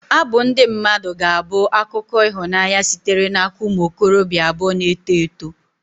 Abụ ndị mmadụ ga-abụ akụkọ ịhụnanya sitere n'aka ụmụ okorobịa abụọ na-eto eto.